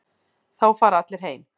Þá fara allir heim.